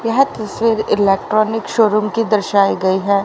यह तस्वीर electronic showroom की दर्शाई गई है।